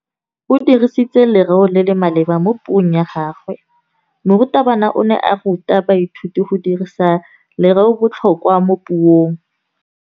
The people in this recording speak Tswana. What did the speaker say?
O dirisitse lerêo le le maleba mo puông ya gagwe. Morutabana o ne a ruta baithuti go dirisa lêrêôbotlhôkwa mo puong.